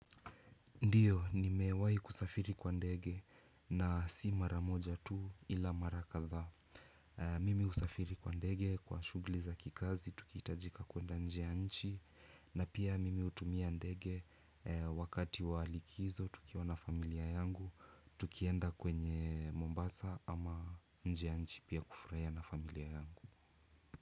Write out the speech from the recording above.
Ndiyo, nimewai kusafiri kwa ndege na si mara moja tu ila mara kadhaa. Mimi husafiri kwa ndege kwa shughli za kikazi, tukihitajika kuenda nje ya nchi. Na pia mimi hutumia ndege wakati wa likizo, tukiwa na familia yangu. Tukienda kwenye Mombasa ama nje ya nchi pia kufraia na familia yangu.